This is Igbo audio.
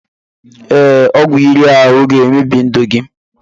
Ee, ọgwụ iri ahụ ga-emebi ndụ gị